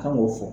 Kan k'o fɔ